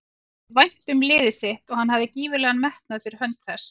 Honum þótti vænt um liðið sitt og hann hafði gífurlegan metnað fyrir hönd þess.